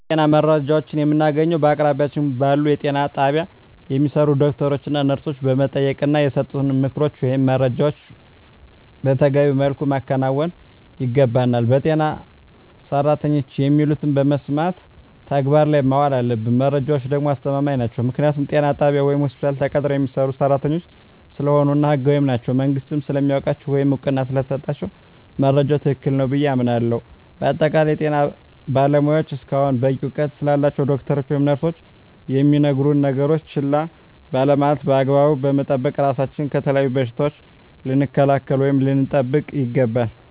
የጤና መረጃዎችን የምናገኘዉ በአቅራቢያችን ባሉ ጤና ጣቢያ በሚሰሩ ዶክተሮችን ነርሶችን በመጠየቅና የሰጡንን ምክሮች ወይም መረጃዎችን መተገቢዉ መልኩ ማከናወን ይገባናል በጤና ሰራተኖች የሚሉትን በመስማት ተግባር ላይ ማዋል አለብን መረጃዎች ደግሞ አስተማማኝ ናቸዉ ምክንያቱም ጤና ጣቢያ ወይም ሆስፒታል ተቀጥረዉ የሚሰሩ ሰራተኞች ስለሆኑ እና ህጋዊም ናቸዉ መንግስትም ስለሚያዉቃቸዉ ወይም እዉቅና ስለተሰጣቸዉ መረጃዉ ትክክል ነዉ ብየ አምናለሁ በአጠቃላይ የጤና ባለሞያዎች እስከሆኑና በቂ እዉቀት ስላላቸዉ ዶክተሮች ወይም ነርሶች የሚነግሩነን ነገሮች ችላ ባለማለት በአግባቡ በመጠቀም ራሳችንን ከተለያዩ በሽታዎች ልንከላከል ወይም ልንጠብቅ ይገባል